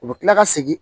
U bɛ kila ka segin